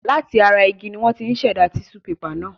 Láti ara igi ni wọ́n ti ń ṣẹ̀dá tíṣú pepà náà.